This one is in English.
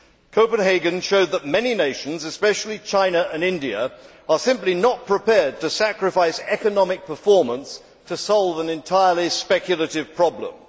Copenhagen showed that many nations, especially China and India, are simply not prepared to sacrifice economic performance to solve an entirely speculative problem.